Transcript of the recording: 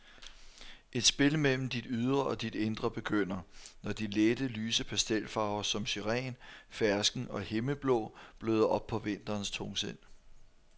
Et spil mellem dit ydre og dit indre begynder, når de lette, lyse pastelfarver som syren, fersken og himmelblå bløder op på vinterens tungsind.